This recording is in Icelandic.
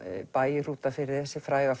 bæ í Hrútafirði þessi fræga